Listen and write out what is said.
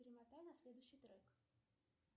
перемотай на следующий трек